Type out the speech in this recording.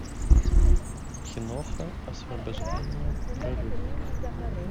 киноха освобождение прорыв